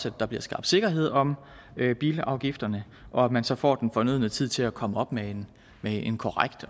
at der bliver skabt sikkerhed om bilafgifterne og at man så får den fornødne tid til at komme op med en en korrekt